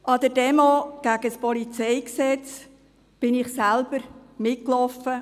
An der Demonstration gegen das Polizeigesetz (PolG) lief ich selbst mit.